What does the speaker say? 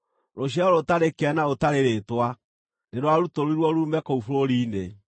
Rũciaro rũtarĩ kĩene na rũtarĩ rĩĩtwa, nĩ rwarutũrũrirwo ruume kũu bũrũri-inĩ.